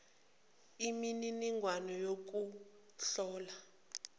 imi niningwane youkuhlola